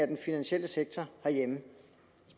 den finansielle sektor